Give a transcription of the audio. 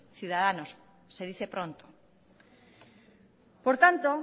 ciudadanos se dice pronto por tanto